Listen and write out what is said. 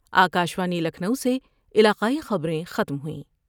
آ کا شوانی لکھنو سے علاقائی خبر یں ختم ہوئیں